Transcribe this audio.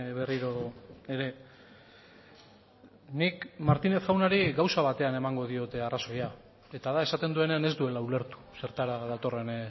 berriro ere nik martinez jaunari gauza batean emango diot arrazoia eta da esaten duenean ez duela ulertu zertara datorren